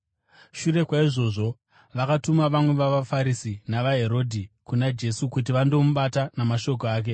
Shure kwaizvozvo vakatuma vamwe vavaFarisi navaHerodhi kuna Jesu kuti vandomubata namashoko ake.